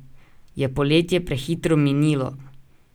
Je poletje prehitro minilo?